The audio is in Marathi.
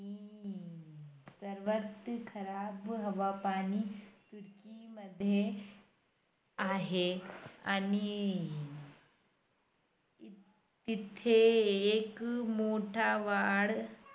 आणि नंतर सर येणार की आज नाही येणार.